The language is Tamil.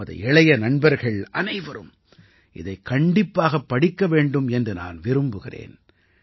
நமது இளைய நண்பர்கள் அனைவரும் இதைக் கண்டிப்பாகப் படிக்க வேண்டும் என்று நான் விரும்புகிறேன்